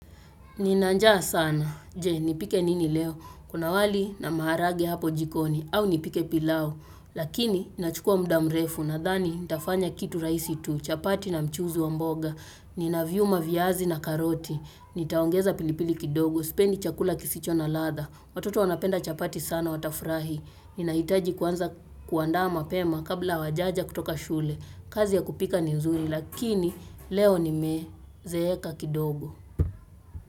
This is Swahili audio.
Nina njaa sana. Je, nipike nini leo? Kuna wali na maharage hapo jikoni au nipike pilau. Lakini inachukua muda mrefu. Nadhani nitafanya kitu rahisi tu. Chapati na mchuzi wa mboga. Ninaviuma viazi na karoti. Nitaongeza pilipili kidogo. Sipendi chakula kisicho na ladha. Watoto wanapenda chapati sana watafurahi. Ninahitaji kwanza kuandaa mapema kabla hawajaja kutoka shule. Kazi ya kupika ni nzuri lakini leo nimezeeka kidogo.